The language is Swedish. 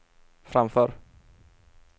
framför